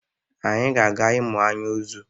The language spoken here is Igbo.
Anyị ga-aga ịmụ anyị ozu.